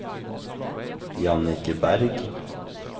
Jannicke Bergh